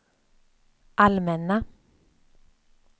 allmänna